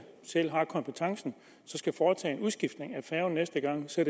selv har kompetencen næste gang skal